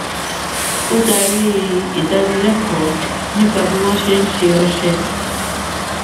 ó darí ìdánilékòó nípa bí wón ṣe ń ṣe ọṣẹ